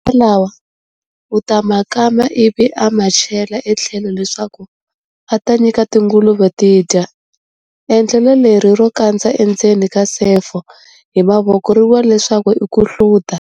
Masiha lawa u ta ma kama ivi a ma chela etlhelo leswaku a ta nyika tinguluve ti dya. Endlelo leri ro kandza endzeni ka sefo hi mavoko ri vuriwa leswaku i ku hluta.